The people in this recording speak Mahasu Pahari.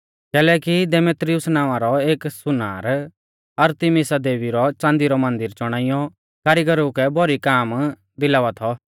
कैलैकि देमेत्रियुस नावां रौ एक सुनार अरतिमिसा देवी रौ च़ांदी रौ मन्दिर चौणाइयौ कारीगरु कै भौरी काम दिलावा थौ